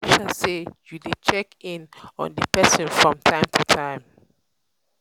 make um sure say you de check in on di persin from um time to time um